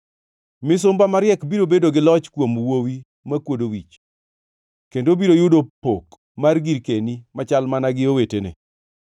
Misumba mariek biro bedo gi loch kuom wuowi makwodo wich, kendo obiro yudo pok mar girkeni machal mana gi owetene.